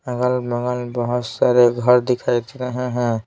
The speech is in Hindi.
अगल-बगल बहुत सारे घर दिखाई दे रहे हैं।